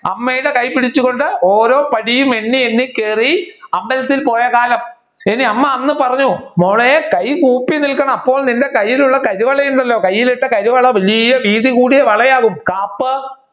അമ്മയുടെ കൈ പിടിച്ചുകൊണ്ട് ഓരോ പടിയും എണ്ണി എണ്ണി കയറി അമ്പലത്തിൽ പോയ കാലം ഇനി അമ്മ അന്ന് പറഞ്ഞു മോളെ കൈ കൂപ്പി നിൽക്കണം, അപ്പോൾ നിന്റെ കയ്യിൽ ഉള്ള കരിവള കയ്യിൽ ഇട്ട കരിവള വലിയ വീതി കൂടിയ വള ആവും